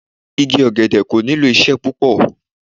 Igi ọ̀gẹ̀dẹ̀ kò nílò ìṣe púpọ̀.